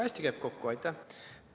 Aitäh!